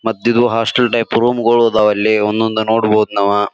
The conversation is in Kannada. ಮಧ್ಯದು ಹಾಸ್ಟೆಲ್ ಟೈಪ್ ರೂಮ್ ಗೊಳ ಆದವ ಅಲ್ಲಿ ಒಂದೊಂದ ನೋಡಬಹುದು ನಾವ.